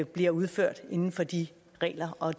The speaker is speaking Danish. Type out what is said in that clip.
bliver udført inden for de regler og